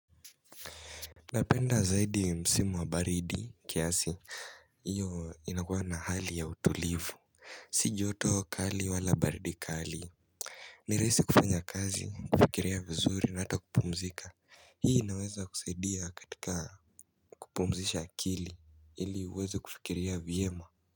Napenda zaidi msimu wa baridi kiasi, hiyo inakuwa na hali ya utulivu. Si joto kali wala baridi kali. Ni rahisi kufanya kazi, kufikiria vizuri na hata kupumzika, hii inaweza kusaidia katika kupumzisha akili ili uweze kufikiria vyema.